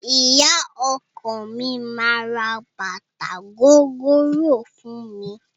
Ìyá ọkọ mi máa ra bàtà gogoro fún mi.